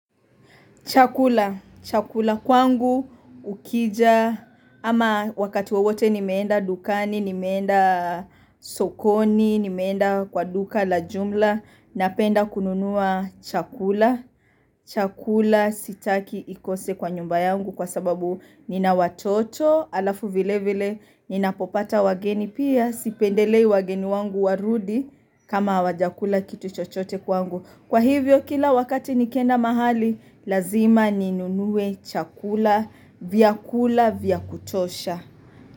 Chakula, chakula kwangu ukija ama wakati wewote ni meenda dukani, ni meenda sokoni, ni meenda kwa duka la jumla Napenda kununua chakula, chakula sitaki ikose kwa nyumba yangu kwa sababu nina watoto alafu vile vile Ninapopata wageni pia sipendelei wageni wangu warudi kama hawajakula kitu chochote kwangu Kwa hivyo kila wakati nikienda mahali, lazima ninunuwe chakula vyakula vya kutosha.